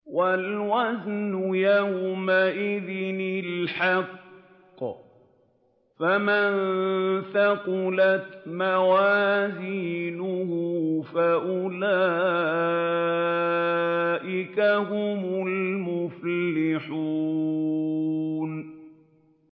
وَالْوَزْنُ يَوْمَئِذٍ الْحَقُّ ۚ فَمَن ثَقُلَتْ مَوَازِينُهُ فَأُولَٰئِكَ هُمُ الْمُفْلِحُونَ